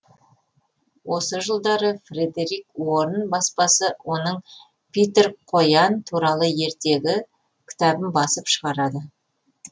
осы жылдары фредерик уорн баспасы оның питер қоян туралы ертегі кітабын басып шығарады